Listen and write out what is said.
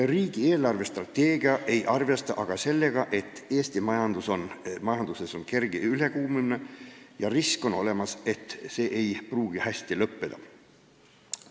Riigi eelarvestrateegia ei arvesta sellega, et Eesti majanduses on kerge ülekuumenemine ja on olemas risk, et see ei pruugi hästi lõppeda.